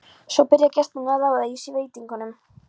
Svo byrja gestirnir að raða í sig veitingunum.